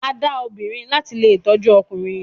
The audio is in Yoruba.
A da obìrin lati lè tọjú ọkùnrin.